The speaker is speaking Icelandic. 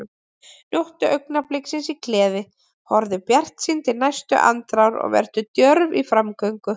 Njóttu augnabliksins í gleði, horfðu bjartsýn til næstu andrár og vertu djörf í framgöngu.